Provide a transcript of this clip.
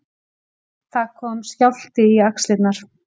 Það kom skjálfti í axlirnar.